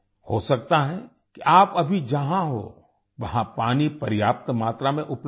हो सकता है कि आप अभी जहां हों वहां पानी पर्याप्त मात्रा में उपलब्ध हो